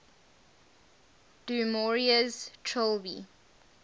du maurier's trilby